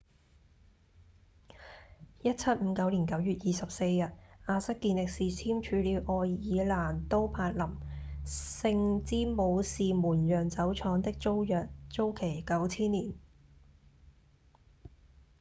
1759年9月24日亞瑟‧健力士簽署了愛爾蘭都柏林聖詹姆士門釀酒廠的租約租期九千年